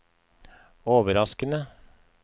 overraskende